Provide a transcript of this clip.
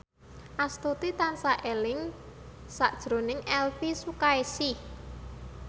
Astuti tansah eling sakjroning Elvi Sukaesih